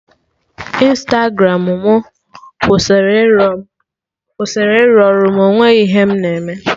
Ngwa Ịnstagramụ mụ kwụsịrị ịrụ ọrụ ma ọ nweghị ihe mụ na-eme